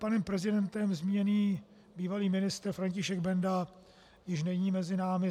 Panem prezidentem zmíněný bývalý ministr František Benda již není mezi námi.